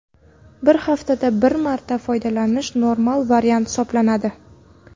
Bir haftada bir marta foydalanish normal variant hisoblanadi.